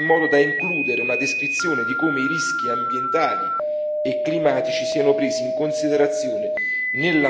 una descrizione di come i rischi ambientali e climatici siano presi in considerazione nella modalità di investimento.